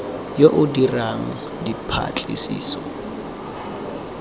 yo o dirang dipatlisiso a